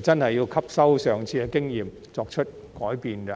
真的要吸收上次的經驗，作出改變。